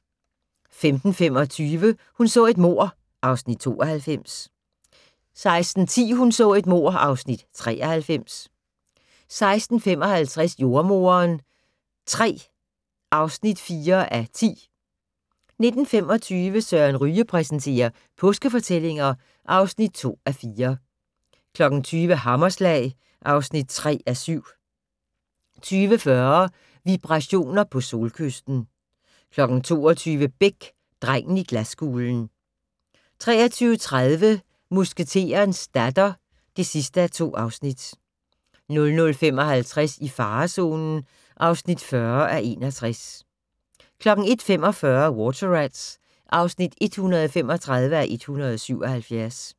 15:25: Hun så et mord (Afs. 92) 16:10: Hun så et mord (Afs. 93) 16:55: Jordemoderen III (4:10) 19:25: Søren Ryge præsenterer: Påskefortællinger (2:4) 20:00: Hammerslag (3:7) 20:40: Vibrationer på Solkysten 22:00: Beck - Drengen i glaskuglen 23:30: Musketerens datter (2:2) 00:55: I farezonen (40:61) 01:45: Water Rats (135:177)